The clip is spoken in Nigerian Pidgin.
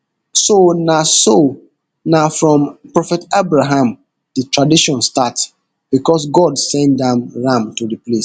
so na so na from prophet abraham di tradition start becos god send am ram to replace